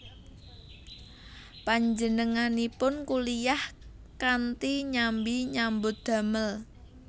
Panjenenganipun kuliyah kanthi nyambi nyambut damel